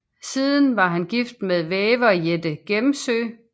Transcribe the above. Siden var han gift med væver Jette Gemzøe